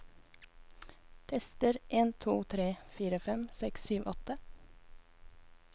Tester en to tre fire fem seks sju åtte